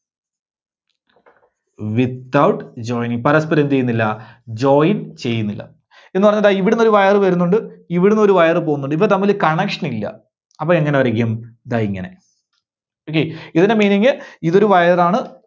Without joining പരസ്‌പരം എന്ത് ചെയ്യുന്നില്ല Join ചെയ്യുന്നില്ല. എന്ന് പറഞ്ഞാൽ ദാ ഇവിടുന്നൊരു wire വരുന്നുണ്ട് ഇവിടുന്നൊരു wire പോകുന്നുണ്ട് ഇവ തമ്മില് connection ഇല്ല. അപ്പോ എങ്ങനെ വരക്കും? ദാ ഇങ്ങനെ Okay. ഇതിന്റെ meaning ഇത് ഒരു wire ആണ്.